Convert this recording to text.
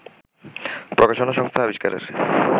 প্রকাশনা সংস্থা আবিষ্কারের